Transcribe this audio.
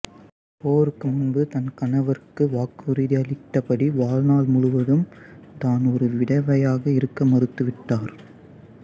போருக்கு முன்பு தன் கணவருக்கு வாக்குறுதியளித்தபடி வாழ்நாள் முழுவதும் தான் ஒரு விதவையாக இருக்க மறுத்துவிட்டார்